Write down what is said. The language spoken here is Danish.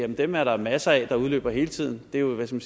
dem er der masser af der udløber hele tiden det er jo